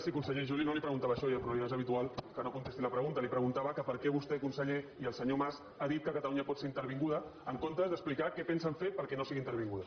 sí conseller jo no li preguntava això però ja és habitual que no contesti la pregunta li preguntava que per què vostè conseller i el senyor mas han dit que catalunya pot ser intervinguda en comptes d’explicar què pensen fer perquè no sigui intervinguda